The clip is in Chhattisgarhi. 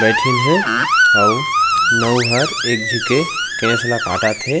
बैठिन हे अऊ नऊ ह एक झी के केस ला काटत हे।